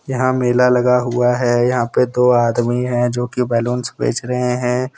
यहाँ मेला लगा हुआ है यहाँ पे दो आदमी है जोकि बैलून्स बेच रहे हैं।